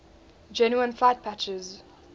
genuine flight patches